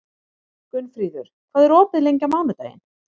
Gunnfríður, hvað er opið lengi á mánudaginn?